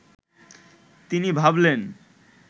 তিনি ভাবলেন